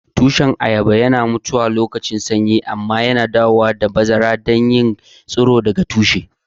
Tushen ayaba yana mutuwa alokacin sanyi amma yawanci suna dawowa a lokacin bazara ta hanyar yin tsiro daga tushe.